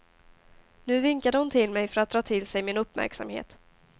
Nu vinkade hon till mig för att dra till sig min uppmärksamhet.